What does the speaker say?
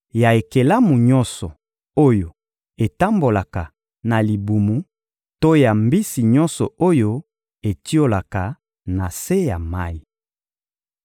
ya ekelamu nyonso oyo etambolaka na libumu to ya mbisi nyonso oyo etiolaka na se ya mayi.